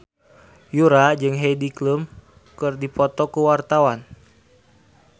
Yura jeung Heidi Klum keur dipoto ku wartawan